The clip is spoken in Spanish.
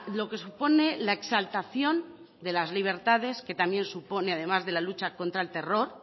lo que supone la exaltación de las libertades que también supone además de la lucha contra el terror